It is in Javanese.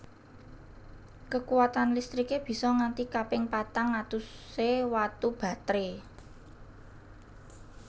Kekuwatan listriké bisa nganti kaping patang atusé watu batré